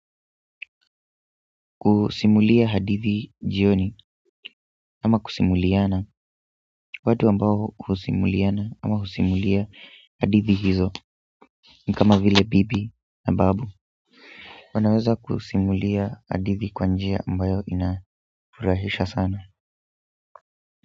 Kusimulia hadithi jioni ama kusimuliana watu ambao husimuliana ama husimulia hadithi hizo ni kama vile bibi na babu wanaweza kusimulia hadithi kwa njia ambayo inafurahisha sana.